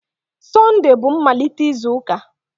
Sunday bú mmalite izu ụka.